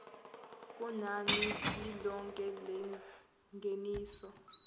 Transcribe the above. kunani lilonke lengeniso